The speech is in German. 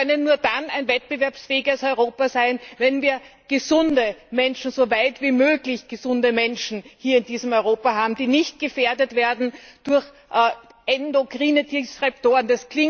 Wir können nur dann ein wettbewerbsfähiges Europa sein, wenn wir so weit wie möglich gesunde Menschen hier in diesem Europa haben, die nicht gefährdet werden durch endokrine Disruptoren.